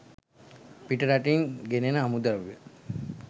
පිට රටින් ගෙනෙන අමුද්‍රව්‍ය